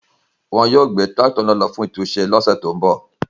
Wọn yóò gbe tirakito náà lo fun titunṣe ni ọsẹ to nbọ